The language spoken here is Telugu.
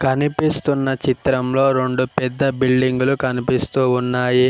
కనిపిస్తున్న చిత్రం లో రొండు పెద్ద బిల్డింగ్లు కనిపిస్తూ ఉన్నాయి.